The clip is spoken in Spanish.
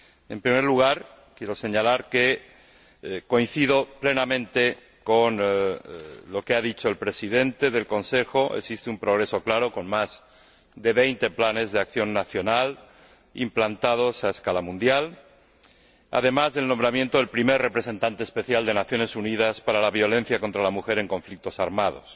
En primer lugar, quiero señalar que coincido plenamente con lo que ha dicho el Presidente del Consejo existe un progreso claro con más de 20 planes de acción nacional implantados a escala mundial, además del nombramiento del primer Representante Especial de las Naciones Unidas para la violencia contra la mujer en conflictos armados.